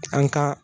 An ka